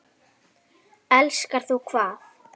Elskar þú hvað?